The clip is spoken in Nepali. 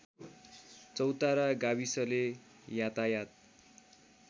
चौतारा गाविसले यातायत